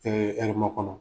Ee Ɛrɛmakɔnɔ.